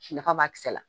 Nafa b'a kisɛ la